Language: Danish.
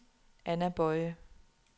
Anna Boye